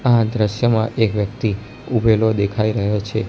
આ દ્રશ્યમાં એક વ્યક્તિ ઊભેલો દેખાય રહ્યો છે.